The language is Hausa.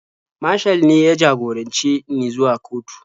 Mashal ne ya jagorance ni zuwa kotu.